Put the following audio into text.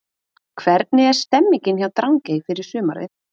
Hvernig er stemningin hjá Drangey fyrir sumarið?